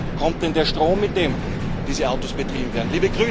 Und woher kommt denn der Strom, mit dem diese Autos betrieben werden?